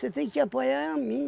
Você tem que apoiar é a mim.